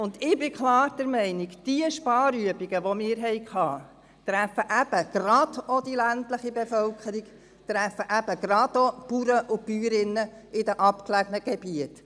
Ich bin klar der Meinung, die Sparübungen, die wir hatten, treffen eben gerade auch die ländliche Bevölkerung, treffen eben gerade auch die Bäuerinnen und Bauern in abgelegenen Gebieten.